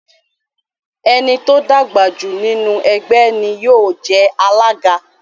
Ẹni tó dàgbàjù nínu ẹgbé ní yío je alága